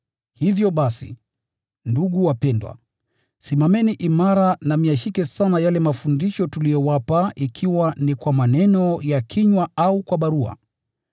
Hivyo basi, ndugu wapendwa, simameni imara na myashike sana yale mafundisho tuliyowapa ikiwa ni kwa maneno ya kinywa au kwa barua.